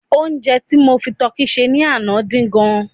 onje ti mo fi tọki se ni Ana din gan